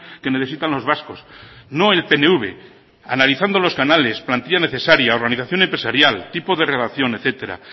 que necesitan los vascos no el pnv analizando los canales plantilla necesaria organización empresarial tipo de relación etcétera